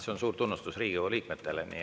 See on suur tunnustus Riigikogu liikmetele.